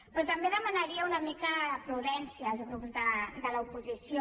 però també demanaria una mica de prudència als grups de l’oposició